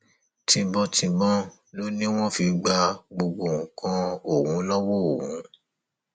tìbọntìbọn ló ní wọn fi gba gbogbo nǹkan ọhún lọwọ òun